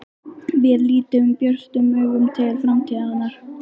Við lítum björtum augum til framtíðarinnar.